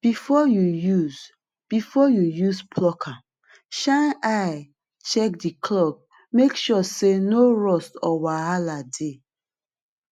before you use before you use plucker shine eye check the clawmake sure say no rust or wahala dey